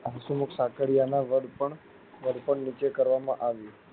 અંસહુમુખ સાકરીયા ના ઘડપણ ઘડપણ નીચે કરવામાં આવ્યું.